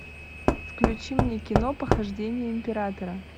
включи мне кино похождения императора